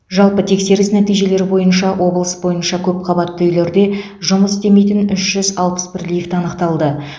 жалпы тексеріс нәтижелері бойынша облыс бойынша көпқабатты үйлерде жұмыс істемейтін үш жүз алпыс бірі лифт анықталды